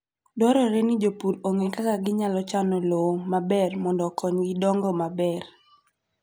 Dwarore ni jopur ong'e kaka ginyalo chano lowo maber mondo okonygi dongo maber.